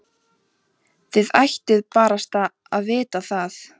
Þið ættuð barasta að vita það.